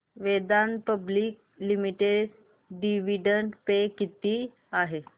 Vedanta public limited dividend pay किती आहे